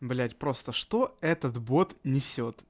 блять просто что этот бот несёт